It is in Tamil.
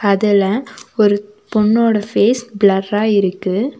அதுல ஒரு பொண்ணோட ஃபேஸ் ப்ளர்ரா இருக்கு.